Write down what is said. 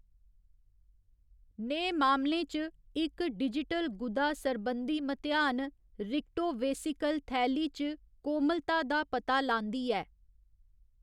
नेह् मामलें च, इक डिजिटल गुदा सरबंधी मतेआन रीक्टोवेसिकल थैली च कोमलता दा पता लांदी ऐ।